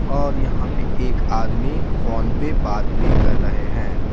और यहाँ पे एक आदमी फोन पे बात भी कर रहे हैं।